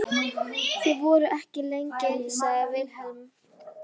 Þið voruð ekki lengi, sagði Vilhelm.